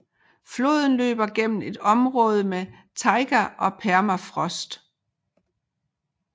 Floden løber gennem et område med taiga og permafrost